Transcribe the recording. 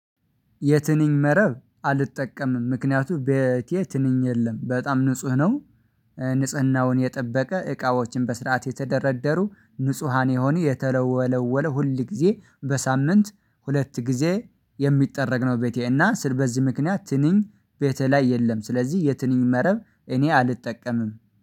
የትንኝ መረብ አልጠቀምም ምክንያቱም ቤቴ ትንኝ የለም በጣም ንጹህ ነው። ንጽህናውን የጠበቀ እቃዎችን በስርዓት የተደረደሩ ንጹሃን የሆኑ የተለወለወለ ሁል ጊዜ በሳምንት ሁለት ጊዜ የሚጠረግ ነው። ቤቴ እና ስር በዚህ ምክንያት ትንኝ ቤቴ ላይ የለም ስለዚህ የትንኝ መረብ እኔ አልጠቀምም